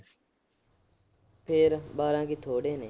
ਫੇਰ। ਬਾਰਾਂ ਕੀ ਥੋੜੇ ਨੇ।